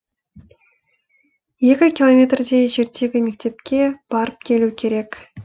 екі километрдей жердегі мектепке барып келу керек